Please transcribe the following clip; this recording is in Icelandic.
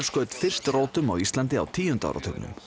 skaut fyrst rótum á Íslandi á tíunda áratugnum